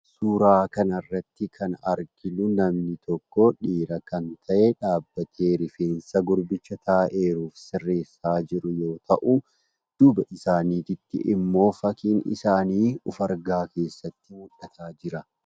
Suuraa kan irratti kan arginu namni tokko dhiira kan ta'e dhaabbatee rifeensa gurbicha taa'ee jiru sirreessaa jiru yoo ta'u, duubaa isaaniitti ammoo fakkiin isaanii ofargaa keessaatti mul'achaa jira.